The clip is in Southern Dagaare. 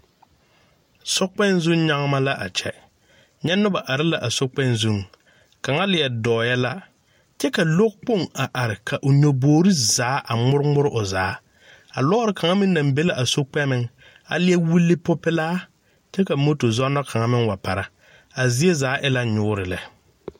Sokpɛŋ zu nyaama a kyɛ, nyɛ noba are la a sokpɛŋ zuŋ, kaŋa leɛ dɔɔɛ la kyɛ ka lɔkpoŋ a are ka o nyogbore zaa a ŋmore ŋmore o zaa, a lɔɔre kaŋa meŋ la are la a sokpɛŋ, a leɛ wuli popeɛlaa, kyɛ ka moto zɔnɔ kaŋa wa para, a zie zaa e la nyoore lɛ.